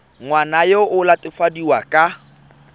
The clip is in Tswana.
ngwana yo o latofadiwang ka